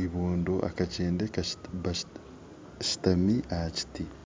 eiboondo ekyende eshuutami aha kiti